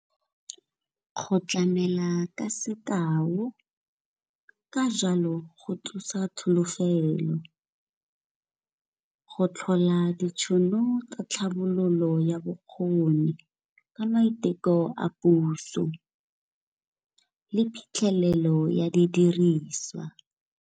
Go tlamela ka sekao, ka jalo go thusa tsholofelo, go tlhola ditšhono tsa tlhabololo ya bokgoni ka maiteko a puso le phitlhelelo ya didiriswa.